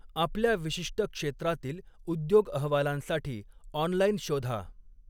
आपल्या विशिष्ट क्षेत्रातील उद्योग अहवालांसाठी ऑनलाईन शोधा.